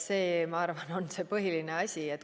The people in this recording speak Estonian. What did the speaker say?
See, ma arvan, on see põhiline asi.